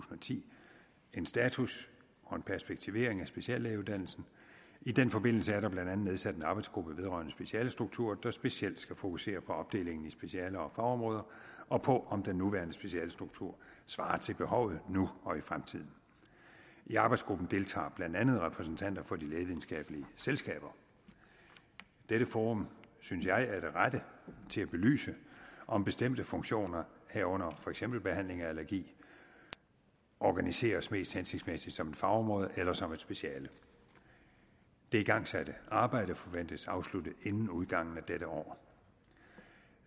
ti en status og en perspektivering af speciallægeuddannelsen og i den forbindelse er der blandt andet nedsat en arbejdsgruppe vedrørende specialestruktur der specielt skal fokusere på opdelingen i specialer og fagområder og på om den nuværende specialestruktur svarer til behovet nu og i fremtiden i arbejdsgruppen deltager blandt andet repræsentanter for de lægevidenskabelige selskaber dette forum synes jeg er det rette til at belyse om bestemte funktioner herunder for eksempel behandling af allergi organiseres mest hensigtsmæssigt som et fagområde eller som et speciale det igangsatte arbejde forventes afsluttet inden udgangen af dette år